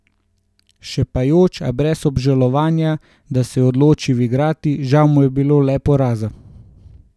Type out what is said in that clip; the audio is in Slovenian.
Šepajoč, a brez obžalovanja, da se je odločil igrati, žal mu je bilo le poraza.